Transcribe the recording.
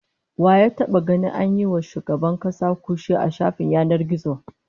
Wa ya taba ganin an yi wa wani shugaban kasa kutse a shafin yanar gizo?